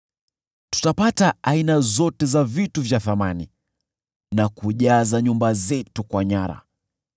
Tutapata aina zote za vitu vya thamani na kujaza nyumba zetu kwa nyara.